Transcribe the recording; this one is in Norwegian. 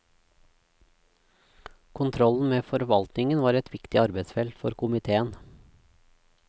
Kontrollen med forvaltningen var et viktig arbeidsfelt for komiteen.